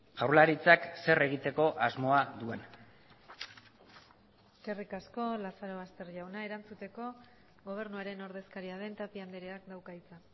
jaurlaritzak zer egiteko asmoa duen eskerrik asko lazarobaster jauna erantzuteko gobernuaren ordezkaria den tapia andreak dauka hitza